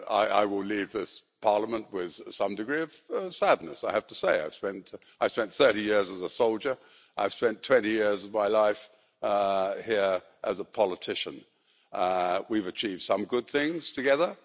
I will leave this Parliament with some degree of sadness, I have to say. I spent 30 years as a soldier, I've spent 20 years of my life here as a politician, and we've achieved some good things together.